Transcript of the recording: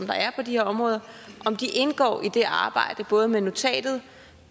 der er på de her områder indgår i det arbejde både med notatet